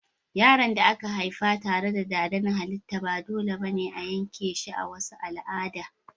Yaron da aka haifa tare da dada na halitta ba dole ba ne a yanke shi a wasu al'ada.